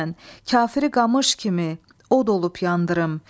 Kafiri qamış kimi od olub yandırırım.